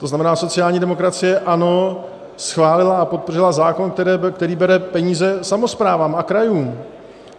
To znamená, sociální demokracie, ano, schválila a podpořila zákon, který bere peníze samosprávám a krajům.